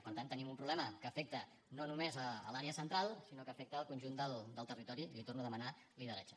per tant tenim un problema que afecta no només l’àrea central sinó que afecta el conjunt del territori i li torno a demanar lideratge